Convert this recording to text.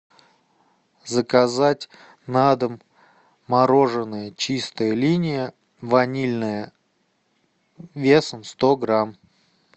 заказать на дом мороженое чистая линия ванильное весом сто грамм